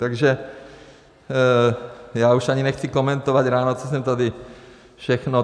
Takže já už ani nechci komentovat ráno, co jsem tady všechno...